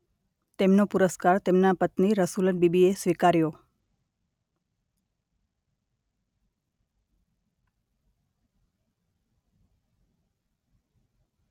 તેમનો પુરસ્કાર તેમના પત્ની રસુલન બીબી એ સ્વીકાર્યો.